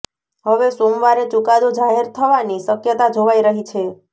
હવે સોમવારે ચુકાદો જાહેર થવાની શકયતા જોવાઈ રહી છે